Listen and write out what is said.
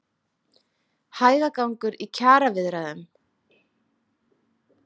Hægagangur í kjaraviðræðum